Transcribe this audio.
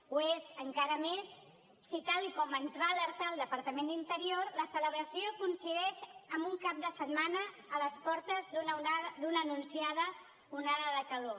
ho és encara més si tal com ens va alertar el departament d’interior la celebració coincideix amb un cap de setmana a les portes d’una anunciada onada de calor